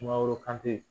Sumaworo kante